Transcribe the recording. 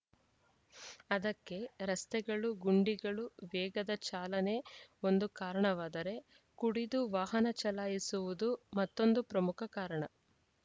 ಅದಕ್ಕೆ ರಸ್ತೆಗಳು ಗುಂಡಿಗಳು ವೇಗದ ಚಾಲನೆ ಒಂದು ಕಾರಣವಾದರೆ ಕುಡಿದು ವಾಹನ ಚಲಾಯಿಸುವುದು ಮತ್ತೊಂದು ಪ್ರಮುಖ ಕಾರಣ